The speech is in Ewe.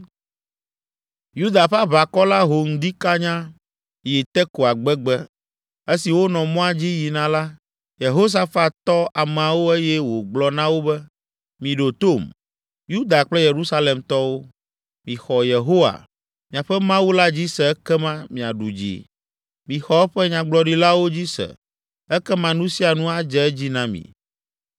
Yuda ƒe aʋakɔ la ho ŋdi kanyaa yi Tekoa gbegbe. Esi wonɔ mɔa dzi yina la, Yehosafat tɔ ameawo eye wògblɔ na wo be, “Miɖo tom, Yuda kple Yerusalemtɔwo. Mixɔ Yehowa, miaƒe Mawu la dzi se ekema miaɖu dzi! Mixɔ eƒe nyagblɔɖilawo dzi se ekema nu sia nu adze edzi na mi!”